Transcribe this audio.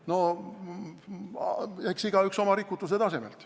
No eks igaüks tegutseb oma rikutuse tasemel.